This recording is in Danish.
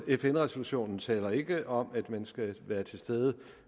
fn resolutionen taler ikke om at man skal være til stede